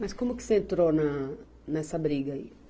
Mas como que você entrou na, nessa briga aí?